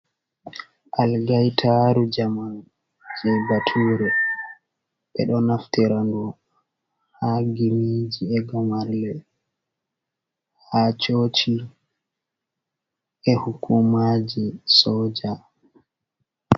Algaitaru jamanu je baturo, ɓe ɗo naftirandu ha gimiji egamarle, ha coci e hukumaji soja.